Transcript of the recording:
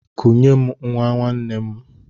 Kunye m nwa nwanne nna m!